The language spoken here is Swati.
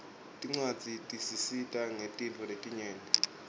tincwadzi tisita ngetintfo letinyenti